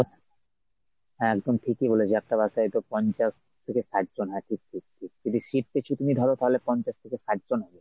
হ্যাঁ একদম ঠিকই বলেছ একটা bus এইতো পঞ্চাশ থেকে ষাটজন, হ্যাঁ ঠিক ঠিক ঠিক, seat পিছু তুমি ধর তাহলে পঞ্চাশ থেকে ষাটজন হবে।